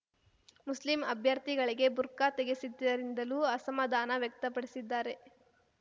Muslim ಅಭ್ಯರ್ಥಿಗಳಿಗೆ ಬುರ್ಖಾ ತೆಗೆಸಿದ್ದರಿಂದಲೂ ಅಸಮಾಧಾನ ವ್ಯಕ್ತಪಡಿಸಿದ್ದಾರೆ